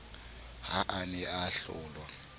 ha a ne a hlolwa